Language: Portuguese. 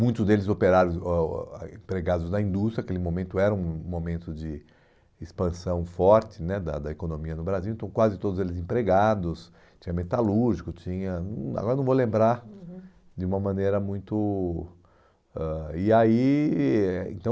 muitos deles operários, ãh o empregados da indústria, aquele momento era um momento de expansão forte né da da economia no Brasil, então quase todos eles empregados, tinha metalúrgico, tinha... hum, agora não vou lembrar, uhum, de uma maneira muito ãh... E aí, eh então...